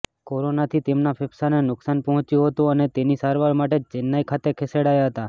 કોરોનાથી તેમના ફેફસાને નુકસાન પહોંચ્યું હતુ અને તેની સારવાર માટે ચેન્નાઈ ખાતે ખસેડાયા હતા